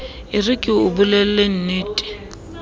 e re ke o bolellennete